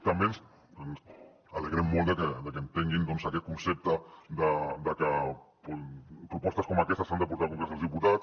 també ens alegrem molt de que entenguin doncs aquest concepte de que propostes com aquestes s’han de portar al congrés dels diputats